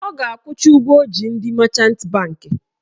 Ọ ga-akwụcha ụgwọ ọ ji ndị machant bankị